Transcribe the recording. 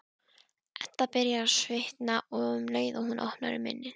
Edda byrjar að svitna um leið og hún opnar munninn.